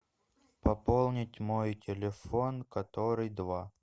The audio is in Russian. пополнить мой телефон который два